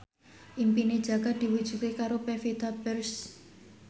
impine Jaka diwujudke karo Pevita Pearce